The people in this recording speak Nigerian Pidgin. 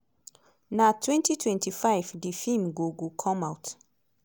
na 2025 di feem go go come out.